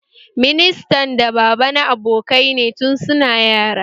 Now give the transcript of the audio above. Ministan da baba na abokai ne tun su na yara